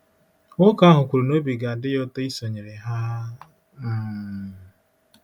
Nwoke ahụ kwuru na obi ga-adị ya ụtọ isonyere ha um.